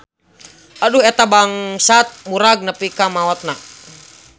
Atuh eta bangsat murag nepi ka maotna.